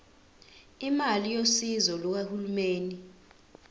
imali yosizo lukahulumeni